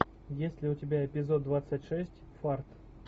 есть ли у тебя эпизод двадцать шесть фарт